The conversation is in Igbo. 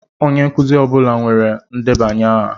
Onye nkuzi ọ bụla nwere ndebanye aha.